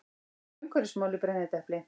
Umhverfismál í brennidepli.